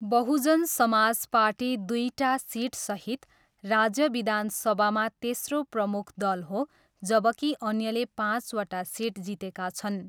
Bahujan Samaj party दुईटा सिटसहित राज्य विधानसभामा तेस्रो प्रमुख दल हो जबकि अन्यले पाँचवटा सिट जितेका छन्।